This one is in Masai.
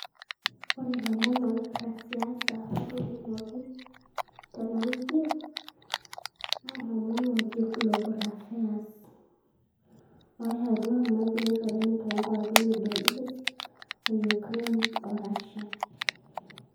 Ore ilomon opera siasa ootolimuaki tena wiki naa ilomon ooji global affairs ayautua irmakuret oleng' too nkuapi e Middle east oyukrain o rasia